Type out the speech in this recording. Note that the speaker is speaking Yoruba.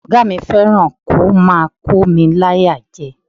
Ọ̀gá mi fẹ́ràn kí ó máa kómi láyà jẹ.